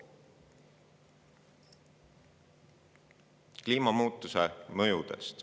kliimamuutuste mõjudest.